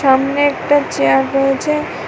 সামনে একটা চেয়ার রয়েছে।